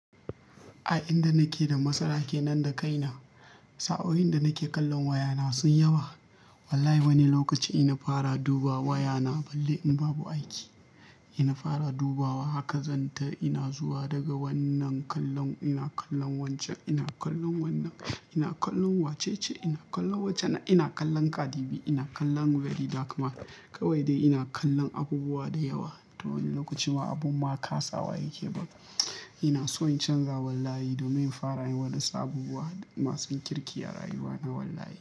A inda nake da matsala kenan da kaina. Sa'oin da nake kallon wayana sunyi yawa. Wallahi wani lokaci ina fara dubawa wayana balle in babu aiki. Ina fara dubawa haka zan ta ina zuwa daga wannan kallon ina kallon wancan ina kallon wannan ina kallon wace ce ina kallon wace nan ina kallon Kadibi ina kallon Very. Daka ma kawai dai ina kallon abubuwa da yawa. To wani lokacin ma abun ma kasa waye ke ban. Ina so in canza wallahi domin in fara yin waɗansu abubuwa masu kirki a rayuwana wallahi.